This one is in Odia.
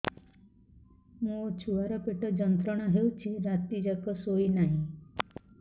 ମୋ ଛୁଆର ପେଟ ଯନ୍ତ୍ରଣା ହେଉଛି ରାତି ଯାକ ଶୋଇନାହିଁ